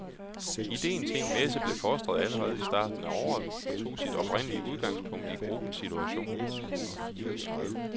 Idéen til en messe blev fostret allerede i starten af året og tog sit oprindelige udgangspunkt i gruppens situation.